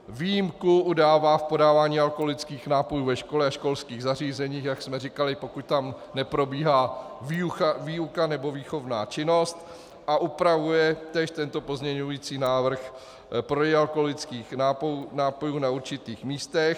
Výjimku udává v podávání alkoholických nápojů ve škole a školských zařízeních, jak jsme říkali, pokud tam neprobíhá výuka nebo výchovná činnost, a upravuje též tento pozměňující návrh prodej alkoholických nápojů na určitých místech.